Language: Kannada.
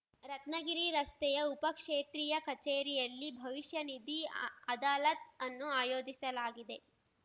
ರತ್ನಗಿರಿ ರಸ್ತೆಯ ಉಪಕ್ಷೇತ್ರೀಯ ಕಚೇರಿಯಲ್ಲಿ ಭವಿಷ್ಯನಿಧಿ ಅದಾಲತ್‌ ಅನ್ನು ಆಯೋಜಿಸಲಾಗಿದೆ